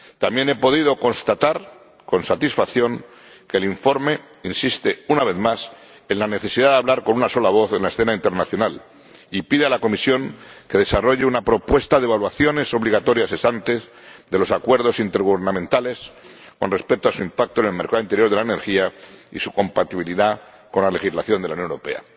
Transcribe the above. También he podido constatar con satisfacción que el informe insiste, una vez más, en la necesidad de hablar con una sola voz en la escena internacional y pide a la Comisión que desarrolle una propuesta de evaluaciones obligatorias ex ante de los acuerdos intergubernamentales con respecto a su impacto en el mercado interior de la energía y su compatibilidad con la legislación de la Unión Europea.